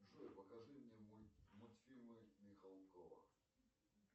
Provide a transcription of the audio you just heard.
джой покажи мне мультфильмы михалкова